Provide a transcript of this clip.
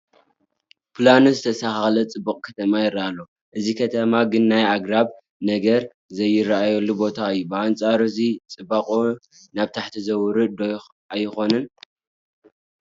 ፕላኑ ዝተስተኻኸለ ፅቡቕ ከተማ ይርአ ኣሎ፡፡ እዚ ከተማ ግን ናይ ኣግራብ ነገር ዘይርአየሉ ቦታ እዩ፡፡ ብኣንፃር እዚ ፅባቕኡ ናብ ታሕቲ ዝወርድ ዶ ኣይኮነን?